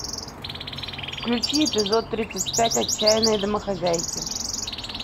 включи эпизод тридцать пять отчаянные домохозяйки